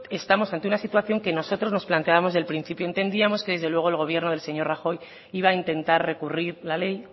estamos ante una situación que nosotros nos planteábamos desde el principio entendíamos que desde luego el gobierno del señor rajoy iba a intentar recurrir la ley